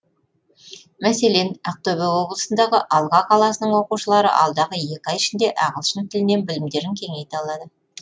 мәселен ақтөбе облысындағы алға қаласының оқушылары алдағы екі ай ішінде ағылшын тілінен білімдерін кеңейте алады